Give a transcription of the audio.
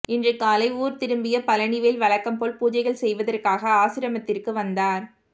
இன்று காலை ஊர் திரும்பிய பழனிவேல் வழக்கம் போல் பூஜைகள் செய்வதற்காக ஆசிரமத்திற்கு வந்தார்